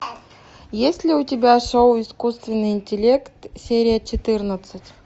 есть ли у тебя шоу искусственный интеллект серия четырнадцать